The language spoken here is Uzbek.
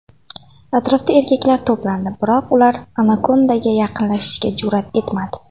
Atrofda erkaklar to‘plandi, biroq ular anakondaga yaqinlashishga jur’at etmadi.